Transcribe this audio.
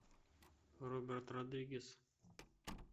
роберт родригес